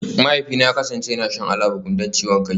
Mahaifina ya kasance yana shan Alabukun don ciwon kai